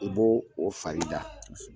U b' o o farida